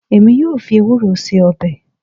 Èmi yóò fi ewúro ṣe ọbẹ̀